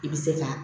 I bɛ se ka